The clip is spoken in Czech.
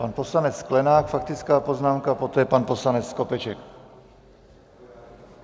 Pan poslanec Sklenák, faktická poznámka, poté pan poslanec Skopeček.